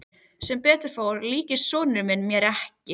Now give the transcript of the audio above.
Sem betur fór líktist sonur minn mér ekki.